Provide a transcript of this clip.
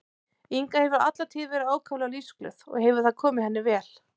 Inga hefur alla tíð verið ákaflega lífsglöð og hefur það komið henni vel.